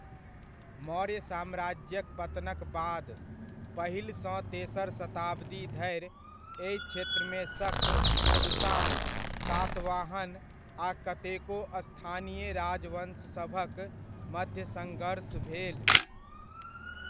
मौर्य साम्राज्यक पतनक बाद, पहिलसँ तेसर शताब्दी धरि एहि क्षेत्रमे शक, कुषाण, सातवाहन आ कतेको स्थानीय राजवंशसभक मध्य सङ्घर्ष भेल।